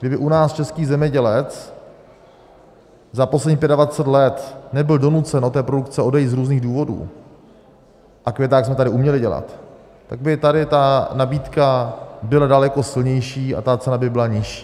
Kdyby u nás český zemědělec za posledních 25 let nebyl donucen od té produkce odejít z různých důvodů, a květák jsme tady uměli dělat, tak by tady ta nabídka byla daleko silnější a ta cena by byla nižší.